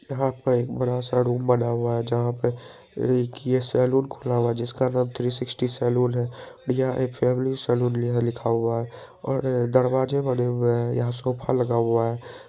यहां पे एक बड़ा-सा रूम बना हुआ हैं जहां पे इ की ये सलून खुला हुआ है जिसका नाम थ्री सिक्सटी सैलून है और यह फैमिली सैलून यहां पर लिखा हुआ है और दरवाजे बने हुए हैं यहां सोफा लगा हुआ है।